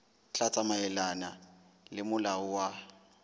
tla tsamaelana le molao wa